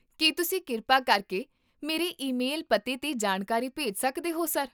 ਕੀ ਤੁਸੀਂ ਕਿਰਪਾ ਕਰਕੇ ਮੇਰੇ ਈਮੇਲ ਪਤੇ 'ਤੇ ਜਾਣਕਾਰੀ ਭੇਜ ਸਕਦੇ ਹੋ, ਸਰ?